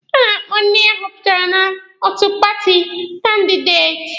A na-akpọ ndị ahọpụtara n'otu paati kandideti.